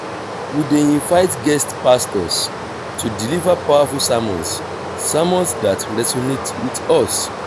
we dey invite guest pastors to deliver powerful sermons sermons that resonate with us.